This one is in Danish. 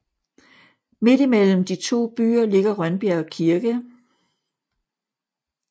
Midt imellem de 2 byer ligger Rønbjerg Kirke